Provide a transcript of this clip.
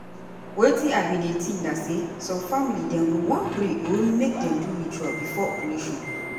wetin i bin dey think na say some family dem go wan pray or make dem do ritual before operation.